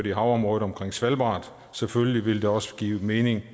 i området omkring svalbard og selvfølgelig ville det også give mening